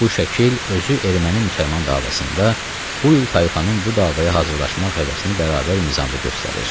Bu şəkil özü erməni-müsəlman davasında bu iki tayfanın bu davaya hazırlaşmaq həvəsini bərabər mizanda göstərir.